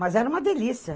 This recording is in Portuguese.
Mas era uma delícia.